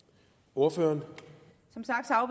ordføreren